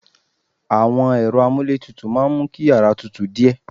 Àwọn ẹ̀rọ amuletutu máa ń mú kí yàrá tútù díẹ̀